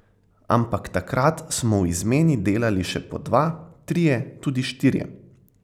Ampak takrat smo v izmeni delali še po dva, trije, tudi štirje.